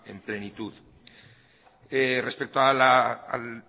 en plenitud respecto a